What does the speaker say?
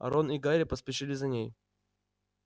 а рон и гарри поспешили за ней